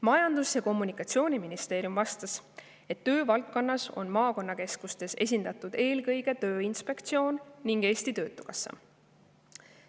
Majandus- ja Kommunikatsiooniministeerium vastas, et töö valdkonnas on maakonnakeskustes esindatud eelkõige Tööinspektsioon ning Eesti Töötukassa.